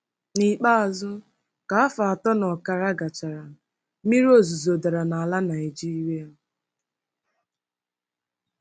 N'ikpeazụ, ka afọ atọ na ọkara gachara, mmiri ozuzo dara n'ala Naigeria.